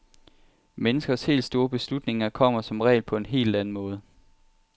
Menneskers helt store beslutninger kommer som regel på en helt anden måde.